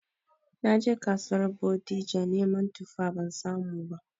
Naje kasuwar Bodija neman tuffa ban samu ba